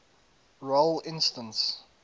role instance